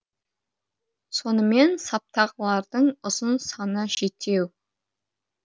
сонымен саптағылардың ұзын саны жетеу